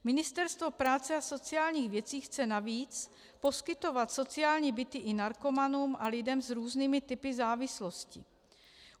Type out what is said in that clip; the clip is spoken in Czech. Ministerstvo práce a sociálních věcí chce navíc poskytovat sociální byty i narkomanům a lidem s různými typy závislosti.